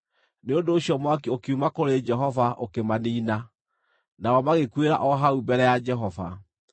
Nĩ ũndũ ũcio mwaki ũkiuma kũrĩ Jehova, ũkĩmaniina, nao magĩkuĩra o hau mbere ya Jehova.